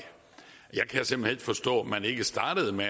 jeg kan simpelt forstå at man ikke startede med